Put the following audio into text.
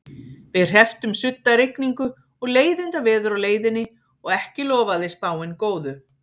Við hrepptum suddarigningu og leiðindaveður á leiðinni og ekki lofaði spáin góðu.